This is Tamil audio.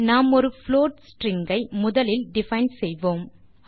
நாம் ஒரு புளோட் ஸ்ட்ரிங் ஐ முதலில் டிஃபைன் செய்வோம்